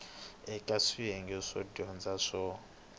eka swiyenge swo dyondza swo